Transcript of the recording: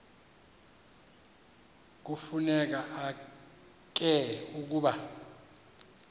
kufuneka ke ukuba